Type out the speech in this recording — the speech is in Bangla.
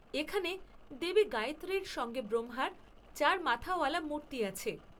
এখানে দেবী গায়ত্রীর সঙ্গে ব্রহ্মার চার মাথাওয়ালা মূর্তি আছে।